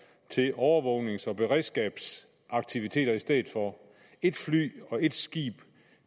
til overvågnings og beredskabsaktiviteter i stedet for et fly og et skib